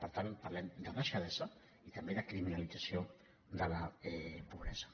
per tant parlem de deixadesa i també de criminalització de la pobresa